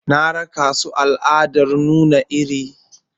Na raka su zuwa taron al'adar nuna iri.